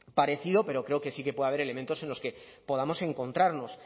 parecido pero creo que sí que puede haber elementos en los que podamos encontrarnos